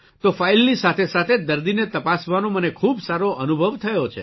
તો ફાઇલની સાથેસાથે દર્દીને તપાસવાનો મને ખૂબ સારો અનુભવ થયો છે